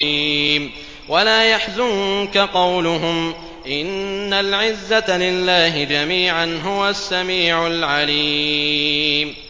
وَلَا يَحْزُنكَ قَوْلُهُمْ ۘ إِنَّ الْعِزَّةَ لِلَّهِ جَمِيعًا ۚ هُوَ السَّمِيعُ الْعَلِيمُ